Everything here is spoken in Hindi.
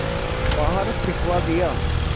बाहर फिंकवा दिया